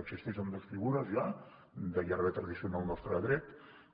existeixen dos figures ja de llarga tradició en el nostre dret